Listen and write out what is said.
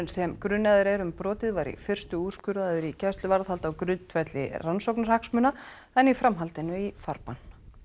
sem grunaður er um brotið var í fyrstu úrskurðaður í gæsluvarðhald á grundvelli rannsóknarhagsmuna en í framhaldinu í farbann